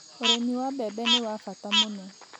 Ũrimi wa mbembe nĩ wa bata muno.